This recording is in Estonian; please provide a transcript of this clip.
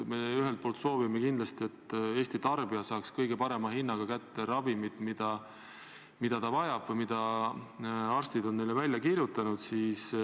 Me ühelt poolt soovime kindlasti, et Eesti tarbija saaks kõige parema hinnaga kätte ravimid, mida ta vajab või mille arstid on talle välja kirjutanud.